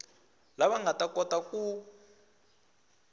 lava nga ta kota ku